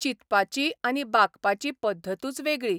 चिंतपाची आनी बागपाची पद्दतूच वेगळी.